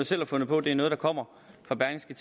selv har fundet på det er noget der kommer fra berlingske